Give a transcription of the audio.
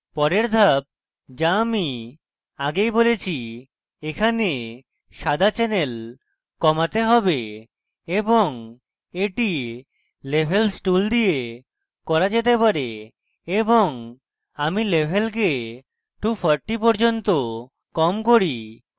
পরের ধাপ যা আমি আগেই বলেছি এখানে সাদা channel কমাতে have এবং এটি levels tool দিয়ে করা যেতে পারে এবং আমি levels 240 পর্যন্ত কম করি